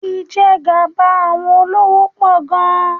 Ìjẹgàba àwọn olówó pọ̀ gan-an.